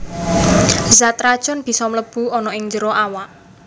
Zat racun bisa mlebu ana ing njero awak